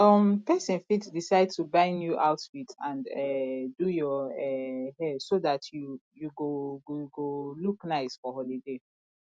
um persin fit decide to buy new outfits and um do your um hair so that you go you go look nice for holiday